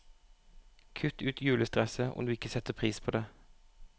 Kutt ut julestresset, om du ikke setter pris på det.